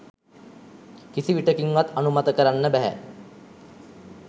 කිසි විටෙකින්වත් අනුමත කරන්න බැහැ